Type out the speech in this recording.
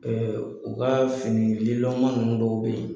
u ka fini lilɔnma ninnu dɔw bɛ yen